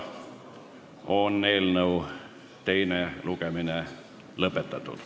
Eelnõu teine lugemine on lõpetatud.